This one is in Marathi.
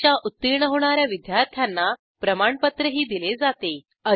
परीक्षा उत्तीर्ण होणा या विद्यार्थ्यांना प्रमाणपत्रही दिले जाते